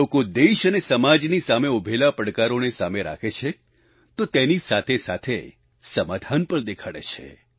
લોકો દેશ અને સમાજની સામે ઉભેલા પડકારોને સામે રાખે છે તો તેની સાથેસાથે સમાધાન પણ દેખાડે છે